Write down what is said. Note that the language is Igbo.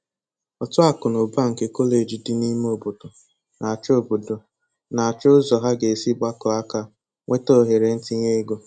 Òtù akụnaụba nke Kọleji dị n'ime ọbọdọ na-achọ ọbọdọ na-achọ ụzọ ha ga-esi gbakọọ aka nweta ohere ntinye ego.